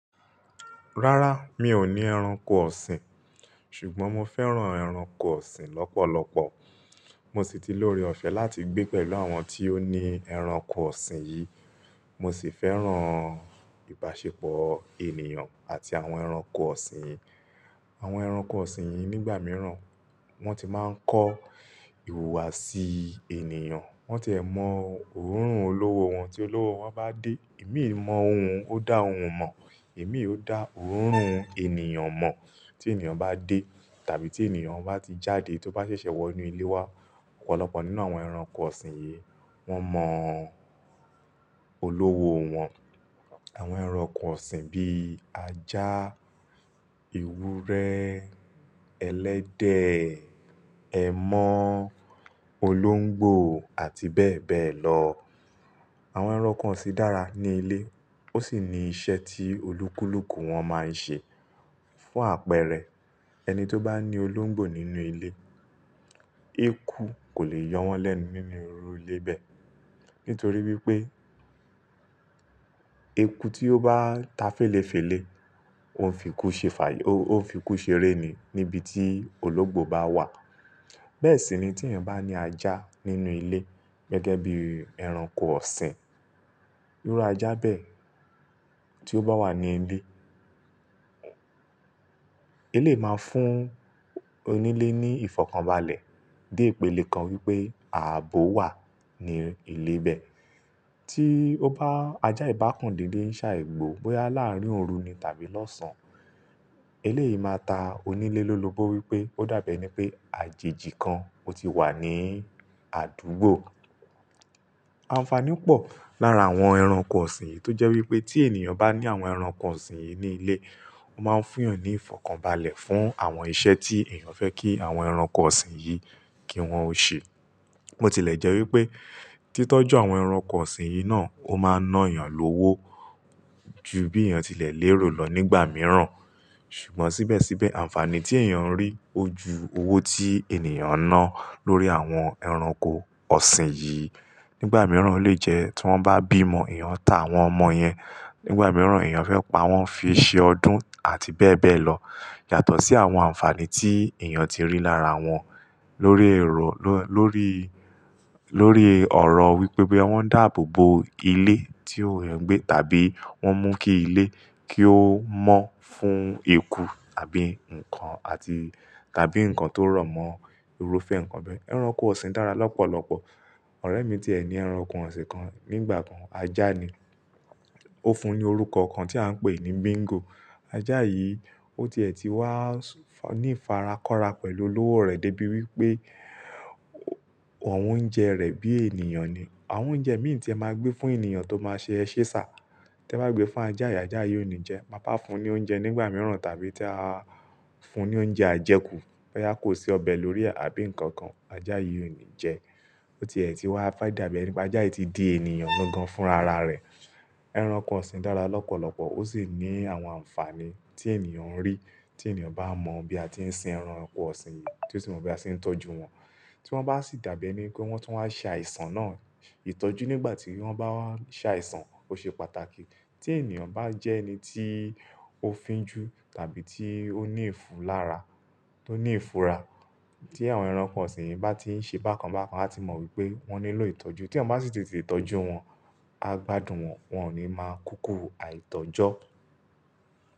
Rárá, mi ò ní ẹranko ọ̀sìn, ṣùgbọ́n mo fẹ́ràn ẹranko ọ̀sìn lọ́pọ̀lọpọ̀. Mo sì ti lóre ọ̀fẹ́ láti gbé pẹ̀lú àwọn tí ó ní ẹranko ọ̀sìn yìí. Mo sì fẹ́ràn ìbáṣepọ̀ ènìyàn àti àwọn ẹranko ọ̀sìn. Àwọn ẹranko ọ̀sìn yìí nígbà mìíràn wọn ti máa ń kọ́ ìhùwàsí ènìyàn. Wọ́n ti ẹ̀ mọ òórùn olówó wọn tí olówó wọn bá dé. Imii mọ ohun ó dá òun mọ̀, imii ó dá òórùn ènìyàn mọ̀ tí ènìyàn bá dé tàbí tí ènìyàn bá ti jáde tó bá ṣẹ̀ṣẹ̀ wọ inú ilé wa. Ọ̀pọ̀lọpọ̀ nínú àwọn ẹranko ọ̀sìn yìí wọn mọ olówó wọn. Àwọn ẹranko ọ̀sìn bí ajá, ewúrẹ́, ẹlẹ́dẹ̀, ẹmọ́, olóńgbò àti bẹ́ẹ̀ bẹ́ẹ̀ lọ. Àwọn ẹranko ọ̀sìn dára ní ilé ó sì ní iṣẹ́ tí olúkúlùkù wọn máa ń ṣe fún àpẹẹrẹ ẹni tó bá ní olóńgbò nínú ilé, eku kò lè yọ wọ́n lẹ́nu nínú oru ilé bẹ́ẹ̀. Nítorí wípé eku tí ó bá ta féléfélé ó ń fi ikú ṣe fà Ó ń fi ikú seré ni níbi tí olóńgbò bá wà. Bẹ́ẹ̀ sì ni tí eeyan bá ní ajá nínú ilé gẹ́gẹ́ bí ẹranko ọ̀sìn. Irú ajá bẹ́ẹ̀ tí ó bá wà ní ilé, elyié máa fún onílé ní ìfọ̀kànbalẹ̀. De ipele kan wípé ààbò wà ní ilé bẹ́ẹ̀. Tí ó bá ajá ìbákandídé ń ṣá ì gbò bóyá láàárín òru ni tàbí lọ́sàn-án, eléyì máa ta onílé lọ́'lóbó wípé ó dàbí ẹni pé àjèjì kan ó ti wà ní àdúgbò. Ànfàní pọ̀ lára àwọn ẹranko ọ̀sìn yìí tó jẹ́ wípé tí ènìyàn bá ní àwọn ẹranko ọ̀sìn yìí ní ilé, ó máa ń fún yàn ní ìfọ̀kànbalẹ̀ fún àwọn iṣẹ́ tí èèyàn fẹ́ kí àwọn ẹranko ọ̀sìn yìí kí wọ́n ó ṣe. Bo ti lẹ̀ jẹ́ wípé títọ́jú àwọn ẹranko ọ̀sìn yìí náà ó máa ń ná èèyàn lówó ju bí èèyàn ti lè lérò lọ nígbà mìíràn. Ṣùgbọ́n síbẹ̀síbẹ̀ ànfàní tí èèyàn ń rí ó ju owó tí ènìyàn ná lórí àwọn ẹranko ọ̀sìn yìí. Nígbà mìíràn ó lè jẹ́ tí wọ́n bá bímọ, èèyàn ta àwọn ọmọ yẹn. Nígbà mìíràn èèyàn fẹ́ pa wọ́n fi ṣe ọdún àti bẹ́ẹ̀ bẹ́ẹ̀ lọ. Yàtọ̀ sí àwọn ànfàní tí èèyàn ti ń rí lára wọn lórí ọ̀rọ̀ wípé boya wọ́n ń dàbò bo ilé tí ò ń gbé tàbí wọ́n ń mú kí ilé kí ó mọ́ fún ekú tàbí ǹkan àti tàbí ǹkan tó rọ̀mọ́ irúfẹ́ ǹkan bẹ́ẹ̀. Ẹranko ọ̀sìn dára lọ́pọ̀lọpọ̀. Ọ̀rẹ́ mi tí è ni ẹranko ọ̀sìn kan nígbà kan, ajá ni. Ó fún un ní orúkọ kan tí à ń pè ní Bingo. Ajá yìí ó ti è ti wá ní farakọra pẹ̀lú olówó rẹ̀ dé bí wípé òun jẹ rẹ̀ bí ènìyàn ni. Àwọn oúnjẹ mí tí ẹ máa gbé fún ènìyàn tó máa ṣe eṣe ṣà tí ẹ bá gbé fún ajá yìí, ajá yìí ò ní jẹ. Ta ba á fún un ní oúnjẹ nígbà mìíràn tàbí tí a fún un ní oúnjẹ ajẹkù, boyá kò sí ọbẹ̀ lórí rẹ̀ àbí ǹkan kan, ajá yìí ò ní jẹ. Ó ti è ti wá fe dàbí ẹni pé ajá yìí ti di ènìyàn gangan fúnra ara rẹ̀. Ẹranko ọ̀sìn dára lọ́pọ̀lọpọ̀ ó sì ní àwọn ànfàní tí ènìyàn ń rí tí ènìyàn bá mọ bí a ti ń sin ẹranko ọ̀sìn yìí, tí ó sì mọ bí a ti ń tọ́jú wọn. Tí wọ́n bá sì dàbí ẹni pé wọ́n tún wáa ń ṣàìsàn náà ìtọ́jú nígbà tí wọ́n bá wá ṣàìsàn ó ṣe pàtàkì. Tí ènìyàn bá jẹ́ ẹni tí ó fínjú tàbí tí ó ní ìfulára, tí ó ní ìfura tí àwọn ẹranko ọ̀sìn yìí bá ti ń ṣe bákan bákan, a ti mọ wípé wọ́n nílò ìtọ́jú. Tí wọ́n bá sì tètè tọ́jú wọn, a gbádùn wọn, wọn ò ní máa kúkú àìtọ́jọ́.